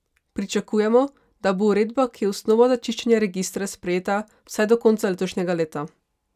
Pričakujemo, da bo uredba, ki je osnova za čiščenje registra, sprejeta vsaj do konca letošnjega leta!